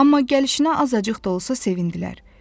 Amma gəlişinə azacıq da olsa sevindilər.